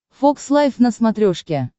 фокс лайв на смотрешке